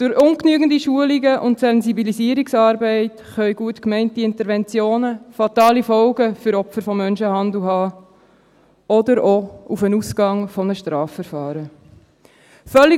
Durch ungenügende Schulung und Sensibilisierungsarbeit können gut gemeinte Interventionen fatale Folgen für Opfer von Menschenhandel oder auch für den Ausgang eines Strafverfahrens haben.